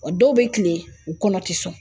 O dɔw bɛ kilen, u kɔnɔ tɛ sɔn